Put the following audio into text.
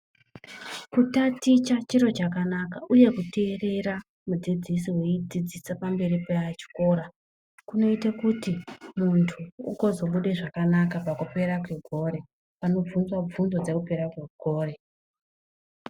Kutaticha chiro chakanaka uye kuteerera mudzidzisi eidzidzisa pamberi pechikora, kunoite kuti muntu ugozobude zvakanaka pakupera kwegore panobvunzwa bvunzo dzekupera kwegore.